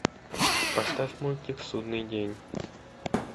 поставь мультик судный день